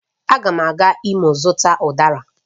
Agam aga Imo ịzuta Udara